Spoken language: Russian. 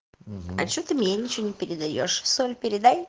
а что ты мне ничего не передаёшь в сам передай